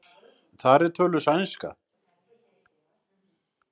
Þar er töluð sænska.